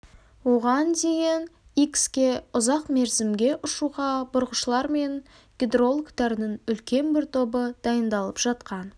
оған дейін икске ұзақ мерзімге ұшуға бұрғышылар мен гидрологтардың үлкен бір тобы дайындалып жатқан